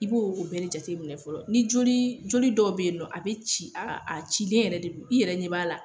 I b'o o bɛɛ de jateminɛ fɔlɔ. Ni jolii joli dɔw be yen nɔ a be ci aa a cilen yɛrɛ de don i yɛrɛ ɲɛ b'a la